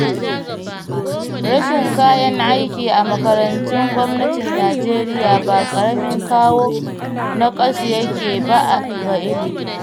Rashin kayan aiki a makarantun gwamnatin Najeriya ba ƙaramin kawo naƙasu yake ba ga ilimi